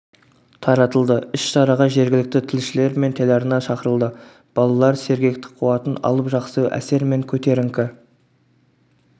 таратылды іс-шараға жергілікті тілшілер мен телеарна шақырылды балалар сергектік қуатын алып жақсы әсер мен көтеріңкі